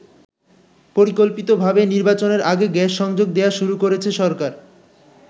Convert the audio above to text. পরিকল্পিত ভাবেই নির্বাচনের আগে গ্যাস সংযোগ দেয়া শুরু করেছে সরকার।